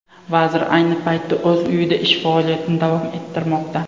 Vazir ayni paytda o‘z uyida ish faoliyatini davom ettirmoqda.